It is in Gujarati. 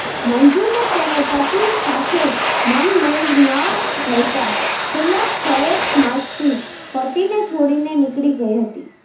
મંજુને તેનો પતિ સાથે મનમેળ ન રહેતાં છેલ્લા છએક માસથી પતિને છોડીને નીકળી ગઈ હતી